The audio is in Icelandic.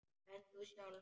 En þú sjálf?